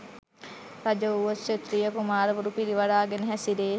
රජ වුවොත් ක්‍ෂත්‍රිය කුමාරවරු පිරිවරාගෙන හැසිරේ.